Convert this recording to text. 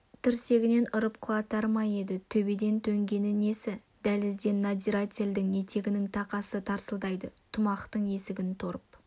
тірсегінен ұрып құлатар ма еді төбеден төнгені несі дәлізден надзирательдің етігінің тақасы тарсылдайды тамұқтың есігін торып